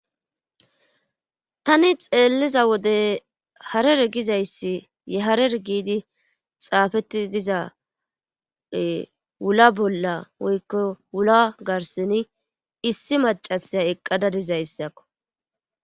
tani xeelliza wode harer gizayssi ye harer giidi xaafetti diza wula bolla woykko wula garseni issi macasya eqqadadizayssakko